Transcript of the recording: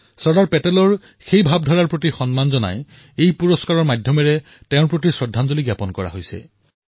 চৰ্দাৰ পেটেলৰ সেই ভাৱনাক সন্মান কৰি এই পুৰস্কাৰৰ মাধ্যমেৰে তেওঁলৈ শ্ৰদ্ধাঞ্জলি জ্ঞাপন কৰিছোঁ